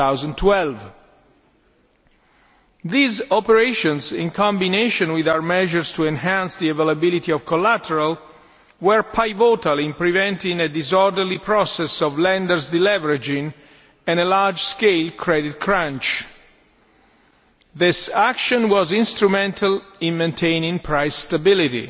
2012. These operations, in combination with our measures to enhance the availability of collateral, were pivotal in preventing a disorderly process of lenders' deleveraging and a large scale credit crunch. This action was instrumental in maintaining price stability.